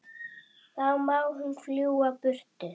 Þá má hún fljúga burtu.